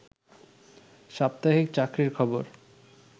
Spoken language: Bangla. সাপ্তাহিক চাকরির খবর